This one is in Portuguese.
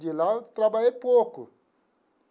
De lá eu trabalhei pouco.